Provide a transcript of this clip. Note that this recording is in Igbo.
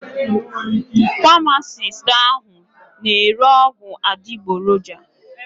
Pamasist ahụ na ere ọgwụ adịgboroja.